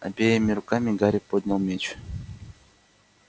обеими руками гарри поднял меч